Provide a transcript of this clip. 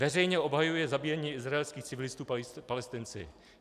Veřejně obhajuje zabíjení izraelských civilistů Palestinci.